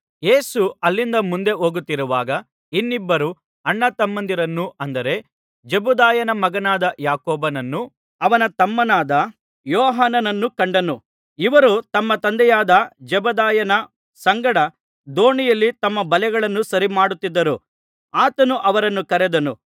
ಯೇಸು ಅಲ್ಲಿಂದ ಮುಂದೆ ಹೋಗುತ್ತಿರುವಾಗ ಇನ್ನಿಬ್ಬರು ಅಣ್ಣ ತಮ್ಮಂದಿರನ್ನು ಅಂದರೆ ಜೆಬೆದಾಯನ ಮಗನಾದ ಯಾಕೋಬನನ್ನೂ ಅವನ ತಮ್ಮನಾದ ಯೋಹಾನನ್ನೂ ಕಂಡನು ಇವರು ತಮ್ಮ ತಂದೆಯಾದ ಜೆಬೆದಾಯನ ಸಂಗಡ ದೋಣಿಯಲ್ಲಿ ತಮ್ಮ ಬಲೆಗಳನ್ನು ಸರಿಮಾಡುತ್ತಿದ್ದರು ಆತನು ಅವರನ್ನು ಕರೆದನು